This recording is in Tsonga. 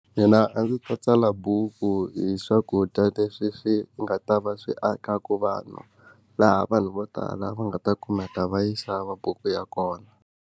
Mina a ndzi ta tsala buku hi swakudya leswi swi nga ta va swi akaku vanhu laha vanhu vo tala va nga ta kumeka va yi xava buku ya kona.